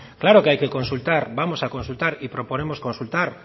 claro que hay que consultar vamos a consultar y proponemos consultar